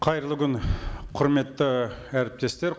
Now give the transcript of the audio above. қайырлы күн құрметті әріптестер